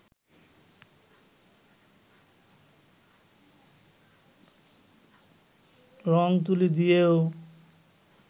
রং-তুলি দিয়েও